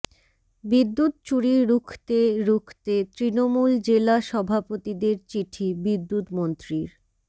বিদ্যুৎ চুরি রুখতে রুখতে তৃণমূল জেলা সভাপতিদের চিঠি বিদ্যুৎমন্ত্রীর